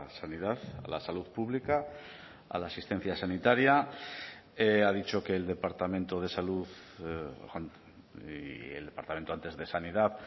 sanidad la salud pública a la asistencia sanitaria ha dicho que el departamento de salud y el departamento antes de sanidad